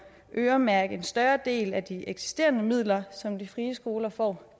øremærke en større del af de eksisterende midler som de frie skoler får